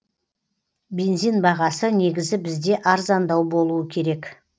бензин бағасы негізі бізде арзандау болуы керек